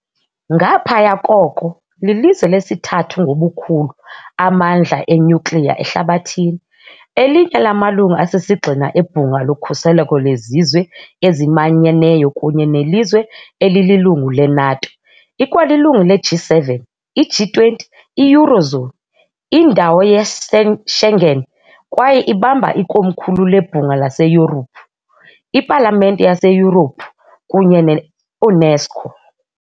Ngaphaya koko, lilizwe lesithathu ngobukhulu amandla enyukliya ehlabathini, elinye lamalungu asisigxina eBhunga loKhuseleko leZizwe eziManyeneyo kunye nelizwe elililungu le-NATO. Ikwalilungu leG7, iG20, i-eurozone, indawo yeSchengen kwaye ibamba ikomkhulu leBhunga laseYurophu, iPalamente yaseYurophu kunye neUNESCO.